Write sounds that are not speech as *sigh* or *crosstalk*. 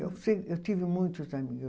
eu *unintelligible* Eu tive muitos amigos.